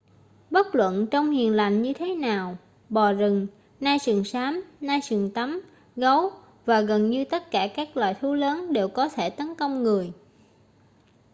bất luận trông hiền lành như thế nào bò rừng nai sừng xám nai sừng tấm gấu và gần như tất cả các loài thú lớn đều có thể tấn công người